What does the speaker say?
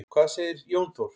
Hvað segir Jón Þór?